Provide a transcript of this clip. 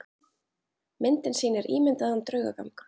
Myndin sýnir ímyndaðan draugagang.